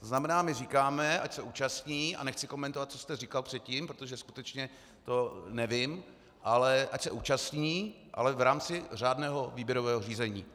To znamená, my říkáme, ať se účastní - a nechci komentovat, co jste říkal předtím, protože skutečně to nevím - ale ať se účastní, ale v rámci řádného výběrového řízení.